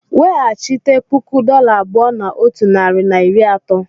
Weghachite puku dollar abụọ na otu narị na iri atọ.